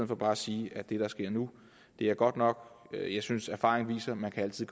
for bare at sige at det der sker nu er godt nok jeg synes erfaringen viser at man altid